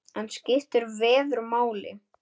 En skiptir veður máli?